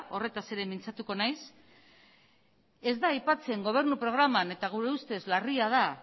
horretaz ere mintzatuko nahiz ez da aipatzen gobernu programan eta gure ustez larria da